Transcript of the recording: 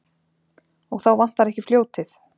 Og þá vantar ekki fljótið.